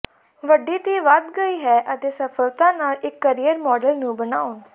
ਵੱਡੀ ਧੀ ਵਧ ਗਈ ਹੈ ਅਤੇ ਸਫਲਤਾ ਨਾਲ ਇੱਕ ਕੈਰੀਅਰ ਮਾਡਲ ਨੂੰ ਬਣਾਉਣ